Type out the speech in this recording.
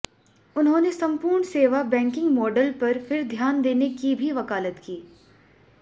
उन्होंने संपूर्ण सेवा बैंकिंग मॉडल पर फिर ध्यान देने की भी वकालत की